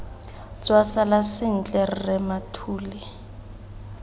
tswa sala sentle rre mathule